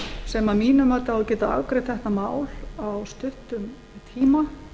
sem að mínu mati á að geta afgreitt þetta mál á stuttum tíma